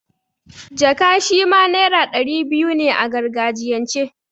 Jaka' shima naira ɗari biyu ne a gargajiyan ce.